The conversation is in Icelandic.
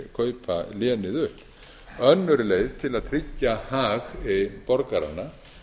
kaupa lénið upp önnur leið til að tryggja hag borgaranna